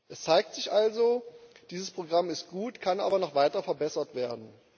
Es zeigt sich also Dieses Programm ist gut, kann aber noch weiter verbessert werden.